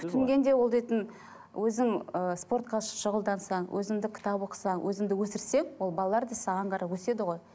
күтінгенде ол дейтін өзің ы спортқа шұғылдансаң өзіңді кітап оқысаң өзіңді өсірсең ол балалар да саған қарап өседі ғой